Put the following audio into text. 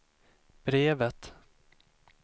brevet